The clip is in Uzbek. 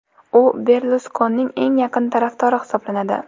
U Berluskonining eng yaqin tarafdori hisoblanadi.